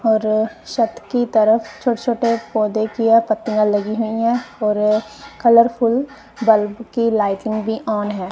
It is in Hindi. और छत की तरफ छोटे छोटे पौधे की ये पत्तीयां लगी हुई है और कलर फुल बल्ब की लाइटिंग भी ऑन है।